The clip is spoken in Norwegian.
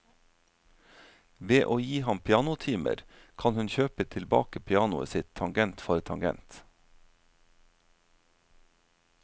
Ved å gi ham pianotimer kan hun kjøpe tilbake pianoet sitt tangent for tangent.